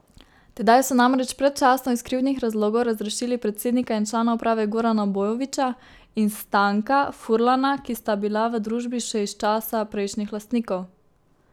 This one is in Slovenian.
Tedaj so namreč predčasno iz krivdnih razlogov razrešili predsednika in člana uprave Gorana Bojovića in Stanka Furlana, ki sta bila v družbi še iz časa prejšnjih lastnikov.